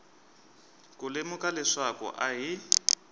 ku lemuka leswaku a hi